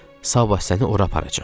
Sabah səni ora aparacam.